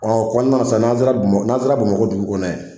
o kɔnɔna san n'an sera bama n'an sera bamakɔ dugu kɔnɔna ye.